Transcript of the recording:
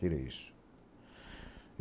Tira isso.